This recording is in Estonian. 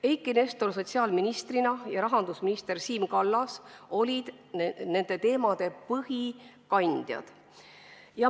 Eiki Nestor sotsiaalministrina ja Siim Kallas rahandusministrina olid nende teemade põhikandjad.